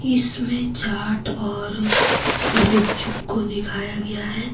इसमें चाट और गुपचुप को दिखाया गया है।